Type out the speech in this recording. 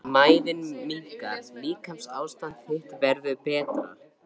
Mæðin minnkar- líkamsástand þitt verður betra.